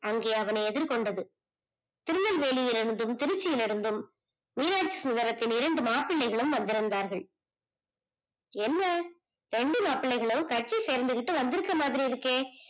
அங்கே அவனை எதிர் கொண்டது திருநெல்வேலியில் இருந்தும் திருச்சியில்யிருந்தும் இருந்தும் மீனாச்சிசுந்தரத்தின் இரண்டு மாப்பிள்ளைகளும் வந்துருந்தார்கள் என்ன இரண்டு மாப்பிள்ளைகளும் கட்சி சேர்ந்துகிட்டு வந்துருக்குறது மாதிரி இருக்கே